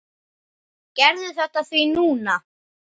Gerðu þetta því núna!